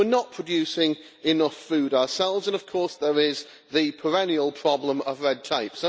We are not producing enough food ourselves, and of course there is the perennial problem of red tape.